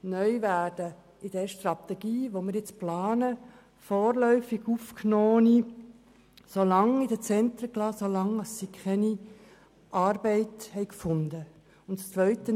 Neu werden demnach in der geplanten Strategie vorläufig Aufgenommene so lange in den Zentren bleiben, wie sie keine Arbeit gefunden haben.